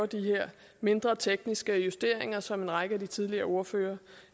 de her mindre tekniske justeringer som en række af de tidligere ordførere